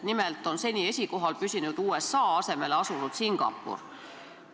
Nimelt on seni esikohal püsinud USA asemele asunud Singapur.